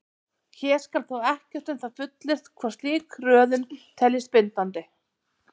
Hér skal þó ekkert um það fullyrt hvort slík röðun teljist bindandi.